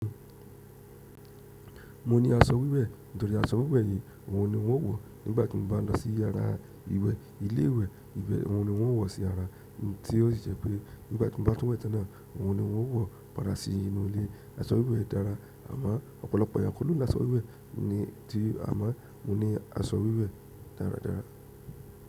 Mo ní aṣọ wíwẹ̀, nítorí aṣọ wíwẹ̀ yìí ohun ni wọ́n ó wọ̀ nígbàtí mo bá lọ sí ara ìwẹ́, ilé ìwẹ́, ìbẹ́ ohun ni wọ́n ó wọ̀ sí ara, tí ó sì jẹ́ pé nígbàtí mo bá tún wẹ̀ tẹ́náà ohun ni wọ́n ó wọ̀ padà sí inú ilé. Aṣọ wíwẹ̀ dára, àmọ́ ọ̀pọ̀lọpọ̀ èyàn kò ló nínú aṣọ wíwẹ̀, ní tí a máa mo ní aṣọ wíwẹ̀ dáradára.